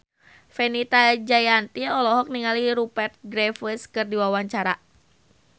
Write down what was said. Fenita Jayanti olohok ningali Rupert Graves keur diwawancara